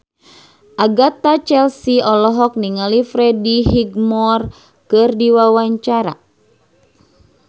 Agatha Chelsea olohok ningali Freddie Highmore keur diwawancara